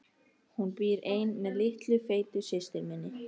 Hún býr ein með litlu feitu systur minni.